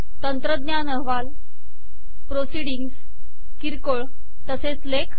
तंत्रज्ञान - अहवाल प्रोसीडिंग्स किरकोळ तसेच लेख